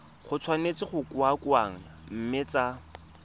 tshwanetse go kokoanngwa mme tsa